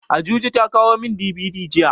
Ajuji ta kawo min DVD jiya.